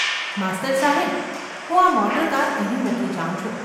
‘માસ્તર સાહેબ ! હું આ મોટરકાર અહીં મૂકી જાઉં છું.